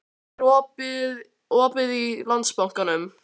Hlökk, er opið í Landsbankanum?